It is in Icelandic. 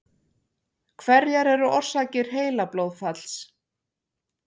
Hverjar eru orsakir heilablóðfalls?